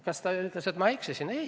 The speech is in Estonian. Kas ta ütles, et ma eksisin?